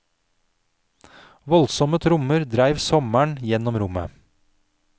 Voldsomme trommer dreiv sommeren gjennom rommet.